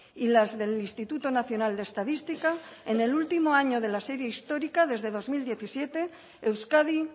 y las del instituto nacional de estadística en el último año de la serie histórica desde dos mil diecisiete euskadi